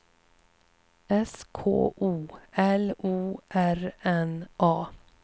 S K O L O R N A